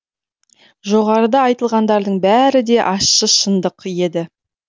жоғарыда айтылғандардың бәрі де ащы шындық еді